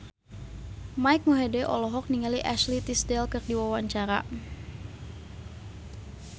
Mike Mohede olohok ningali Ashley Tisdale keur diwawancara